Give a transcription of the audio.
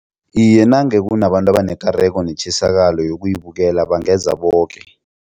Iye, nange kunabantu abanekareko netjisakalo yokuyibukela bangeza boke.